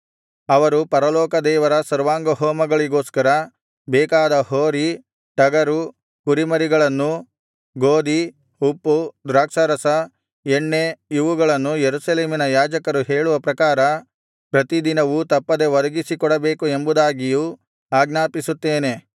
ಅವರು ಪರಲೋಕದೇವರ ಸರ್ವಾಂಗಹೋಮಗಳಿಗೋಸ್ಕರ ಬೇಕಾದ ಹೋರಿ ಟಗರು ಕುರಿಮರಿಗಳನ್ನೂ ಗೋದಿ ಉಪ್ಪು ದ್ರಾಕ್ಷಾರಸ ಎಣ್ಣೆ ಇವುಗಳನ್ನೂ ಯೆರೂಸಲೇಮಿನ ಯಾಜಕರು ಹೇಳುವ ಪ್ರಕಾರ ಪ್ರತಿದಿನವೂ ತಪ್ಪದೆ ಒದಗಿಸಿ ಕೊಡಬೇಕು ಎಂಬುದಾಗಿಯೂ ಆಜ್ಞಾಪಿಸುತ್ತೇನೆ